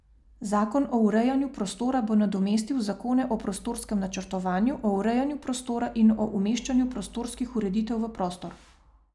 Zakon o urejanju prostora bo nadomestil zakone o prostorskem načrtovanju, o urejanju prostora in o umeščanju prostorskih ureditev v prostor.